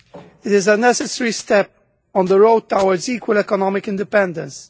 It is a necessary step on the road towards equal economic independence.